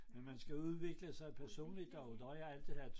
Men man skal udvikle sig personligt og der har jeg altid været